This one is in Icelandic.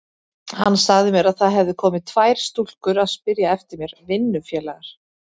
Hún sagði mér að það hefðu komið tvær stúlkur að spyrja eftir mér, vinnufélagar.